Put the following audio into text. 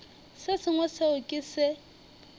se sengwe seo ke se